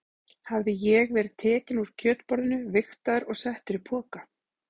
Hafði ég verið tekinn úr kjötborðinu, vigtaður og settur í poka?